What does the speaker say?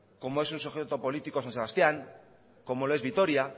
como es un sujeto político san sebastián como lo es vitoria